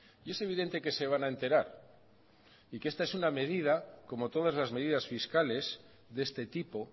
y es evidente que se van a enterar y que es esta es una medida como todas las medidas fiscales de este tipo